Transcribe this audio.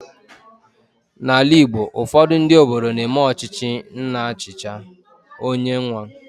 N'ala Igbo, ufodu ndị obodo na eme ọchịchị nna chicha, ọ nye nwa